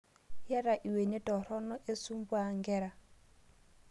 Eyata lwenet toruno esumbua nkera